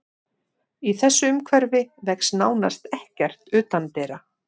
Í þessu umhverfi vex nánast ekkert utandyra.